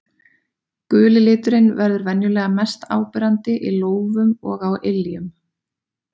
Guli liturinn verður venjulega mest áberandi í lófum og á iljum.